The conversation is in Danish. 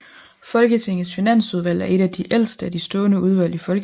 Folketingets Finansudvalg er et af de ældste af de stående udvalg i Folketinget